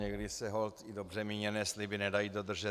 Někdy se holt i dobře míněné sliby nedají dodržet.